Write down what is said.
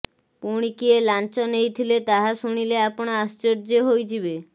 ପୁଣି କିଏ ଲାଞ୍ଚ ନେଇଥିଲେ ତାହା ଶୁଣିଲେ ଆପଣ ଆଶ୍ଚର୍ଯ୍ୟ ହୋଇଯିବେ